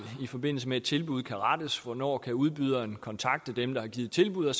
i forbindelse med et tilbud kan rettes hvornår udbyderen kan kontakte dem der har givet tilbud og